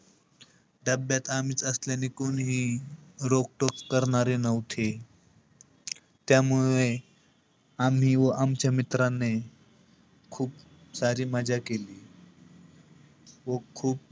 डब्ब्यात आम्हीच असल्याने कोणीही रोखटोक करणारे नव्हते. व त्यामुळे, आम्ही व आमच्या मित्राने खूप सारी मजा केली. खूप-खूप,